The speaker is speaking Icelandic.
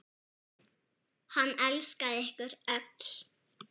Hann elskaði ykkur öll.